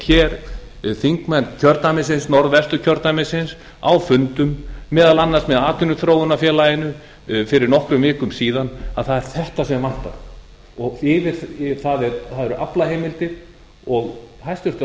á hreint þingmenn norðvesturkjördæmis á fundum meðal annars með atvinnuþróunarfélaginu fyrir nokkrum vikum síðan að það er þetta sem vantar það eru aflaheimildir og hæstvirtur